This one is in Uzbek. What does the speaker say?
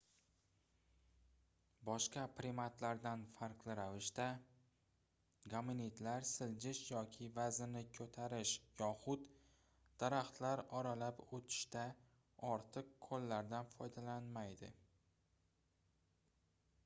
boshqa primatlardan farqli ravishda gominidlar siljish yoki vaznini koʻtarish yoxud daraxtlar oralab oʻtishda ortiq qoʻllaridan foydalanmaydi